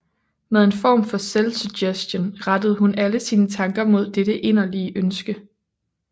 Med en form for selvsuggestion rettede hun alle sine tanker mod dette inderlige ønske